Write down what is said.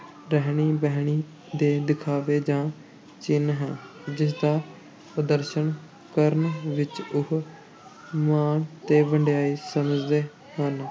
ਰਹਿਣੀ-ਬਹਿਣੀ ਦੇ ਦਿਖਾਵੇ ਦਾ ਚਿੰਨ੍ਹ ਹੈ, ਜਿਸਦਾ ਪ੍ਰਦਰਸ਼ਨ ਕਰਨ ਵਿੱਚ ਉਹ ਮਾਣ ਤੇ ਵਡਿਆਈ ਸਮਝਦੇ ਹਨ।